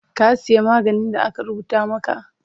Ka siya maganin da aka rubuta maka?